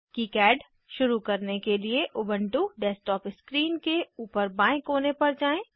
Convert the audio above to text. KiCad शुरू करने के लिए उबन्टु डेस्कटॉप स्क्रीन के ऊपर बाएं कोने पर जाएँ